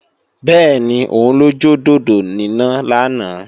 Bẹ́ẹ̀ni, òun lọ jọ dòdò níná lánàá